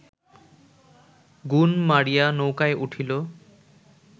গুণ মারিয়া নৌকায় উঠিল